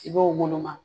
Sigiw woloma